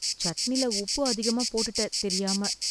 சட்னில உப்பு அதிகமா போட்டுட்ட தெரியாம